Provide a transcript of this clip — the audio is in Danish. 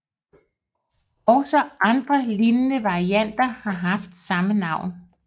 Også andre lignende varianter har haft samme navn